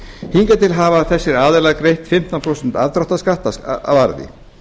hingað til hafa þessir aðilar greitt fimmtán prósent afdráttarskatt af arði